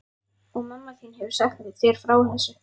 Og mamma þín hefur sagt þér frá þessu?